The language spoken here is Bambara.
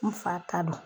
N fa ta don